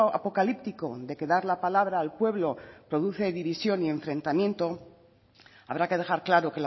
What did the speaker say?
apocalíptico de que dar la palabra al pueblo produce división y enfrentamiento habrá que dejar claro